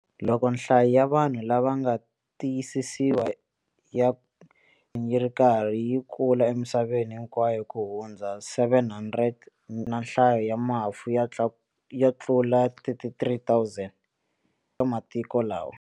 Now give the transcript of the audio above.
Loko nhlayo ya vanhu lava nga tiyisisiwa ya yi ri nkarhi yi kula emisaveni hinkwayo ku hundza 700 000 na nhlayo ya mafu yi tlula 33 000 eka matiko lawa.